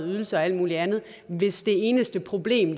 ydelser og alt muligt andet hvis det eneste problem